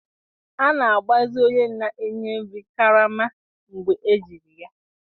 A na-agbazi onye na-enye nri karama mgbe ejiri ya.